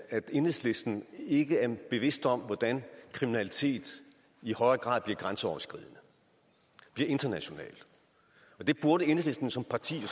at enhedslisten ikke er bevidste om hvordan kriminalitet i højere grad bliver grænseoverskridende bliver international det burde enhedslisten som parti